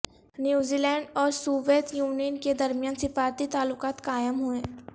نیوزی لینڈاور Soviet Union کے درمیان سفارتی تعلقات قائم ہوئے